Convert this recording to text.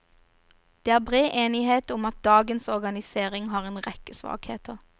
Det er bred enighet om at dagens organisering har en rekke svakheter.